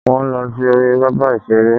Wọ́n lọ sí orí pápá ìṣeré